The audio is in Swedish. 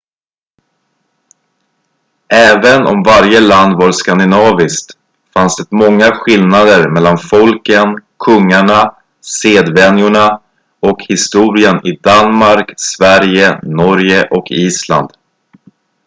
"även om varje land var "skandinaviskt" fanns det många skillnader mellan folken kungarna sedvänjorna och historien i danmark sverige norge och island.